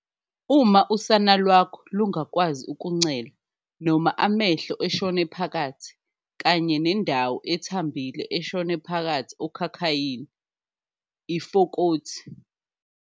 .uma usana lwakho lungakwazi ukuncela noma amehlo eshone phakathi kanye nendawo ethambile eshone phakathi okhakhayini, ifokothi.